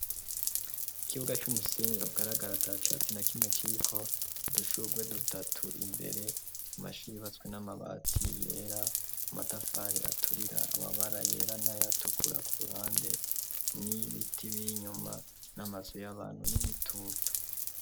ikibuga cumusenyi kigaragara atacatsi na kimwe kiriko udushugwe dutatu imbere u mashuri batswe n'amabati yera amatafari aturira amabara yera na yatukura ku ruhande n'ibiti biri nyuma n'amazu y'abantu n'igitutu